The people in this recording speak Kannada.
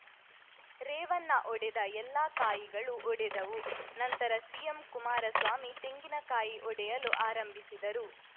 ರೇವಣ್ಣ ಒಡೆದ ಎಲ್ಲಾ ಕಾಯಿಗಳು ಒಡೆದವು ನಂತರ ಸಿಎಂ ಕುಮಾರಸ್ವಾಮಿ ತೆಂಗಿನಕಾಯಿ ಒಡೆಯಲು ಆರಂಭಿಸಿದರು